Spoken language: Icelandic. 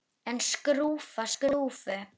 En skrúfa skrúfu?